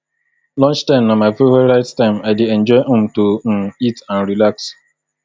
lunchtime na my favorite time i dey enjoy um to um eat and relax